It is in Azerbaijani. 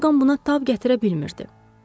Orqan buna tab gətirə bilmirdi.